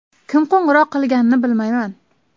Kim qo‘ng‘iroq qilganini bilmayman.